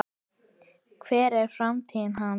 Hver er framtíð hans?